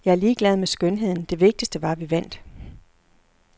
Jeg er ligeglad med skønheden, det vigtigste var, at vi vandt.